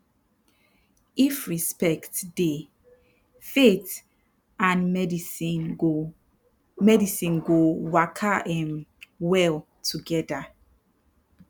if respect dey faith and medicine go medicine go waka um well together